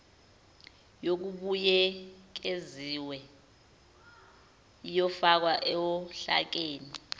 yokubuyekeziwe iyofakwa ohlakeni